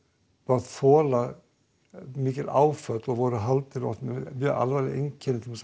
mátt þola mikil áföll og voru haldnir alvarlegum einkennum til